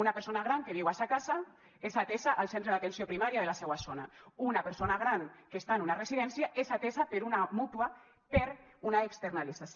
una persona gran que viu a sa casa és atesa al centre d’atenció primària de la seua zona una persona gran que està en una residència és atesa per una mútua per una externalització